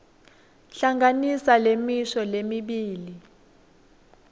hlanganisa lemisho lemibili